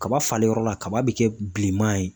Kaba falenyɔrɔ la kaba bɛ kɛ bilenman ye